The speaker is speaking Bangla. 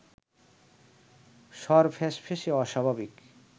স্বর ফ্যাঁসফেঁসে অস্বাভাবিক